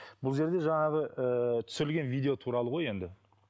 бұл жерде жаңағы ыыы түсірілген видео туралы ғой енді